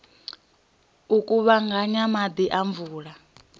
u kuvhanganya maḓi a mvula